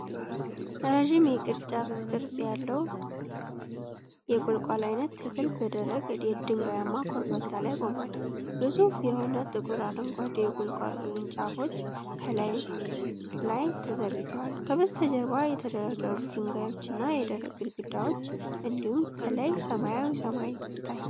ረጅም፣ የቅርንጫፍ ቅርጽ ያለው የቁልቋል ዓይነት ተክል በደረቅ፣ ድንጋያማ ኮረብታ ላይ ቆሟል። ግዙፍ የሆኑ ጥቁር አረንጓዴ የቁልቋል ቅርንጫፎች ከላይ ላይ ተዘርግተዋል። ከበስተጀርባ የተደረደሩ ድንጋዮችና የደረቅ ግድግዳዎች እንዲሁም ከላይ ሰማያዊ ሰማይ ይታያል።